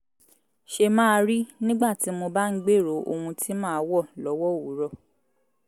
ṣe máa rí nígbà tí mo bá ń gbèrò ohun tí màá wọ̀ lọ́wọ́ òwúrọ̀